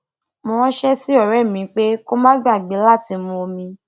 mo ránṣé sí ọrẹ mí pé kó má gbàgbé látí mu omi